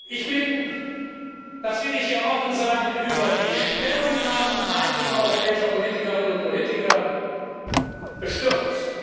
Ich bin das will ich hier offen sagen über die Stellungnahmen einiger europäischer Politikerinnen und Politiker bestürzt.